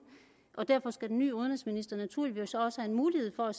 derfor skal den nye udenrigsminister naturligvis også have mulighed for at